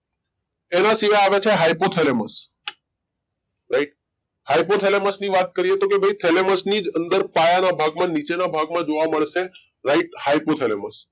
એના સિવાય આગળ છે hypothalamus right hypothalamus ની વાત કરીએ તો ભાઈ thalamus ની જ અંદર પાયાના ભાગમાં નીચેના ભાગમાં જોવા મળશે right hypothalamus